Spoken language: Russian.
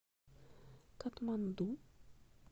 катманду